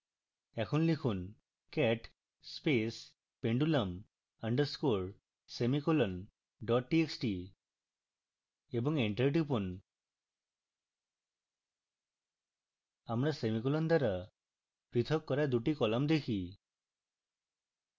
এখন লিখুন cat space pendulum underscore semicolon dot txt enter টিপুন আমরা semicolon দ্বারা প্রথক করা dot কলাম দেখি